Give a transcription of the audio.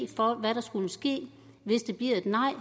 for hvad der skulle ske hvis det bliver et nej og